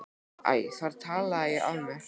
Æ, þar talaði ég af mér!